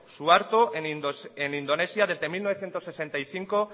suharto en indonesia desde mil novecientos sesenta y cinco